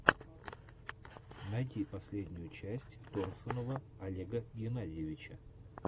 найди последнюю часть торсунова олега геннадьевича